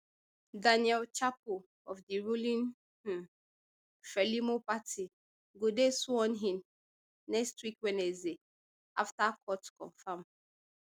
daniel chapo of di ruling um frelimo party go dey sworn in next wednesday afta court confam